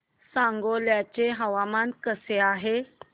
सांगोळा चं हवामान कसं आहे